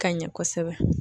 Ka ɲɛ kosɛbɛ.